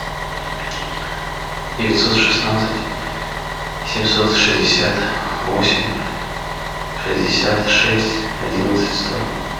девятьсот шестнадцать семьсот шестьдесят восемь шестьдесят шесть одиннадцать сто